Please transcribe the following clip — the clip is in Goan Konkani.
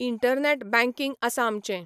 इंटरनेट बँकिंग आसा आमचें.